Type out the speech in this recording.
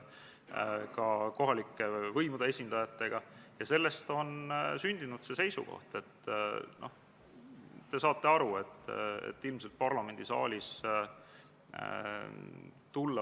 Riigikaitsekomisjon arutas eelnõu enne teisele lugemisele esitamist oma k.a 21. oktoobri istungil.